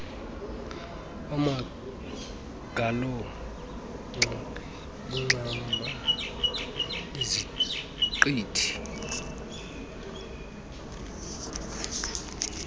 amagolonxa iincam iziqithi